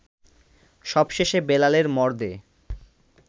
সবশেষে বেলালের মরদে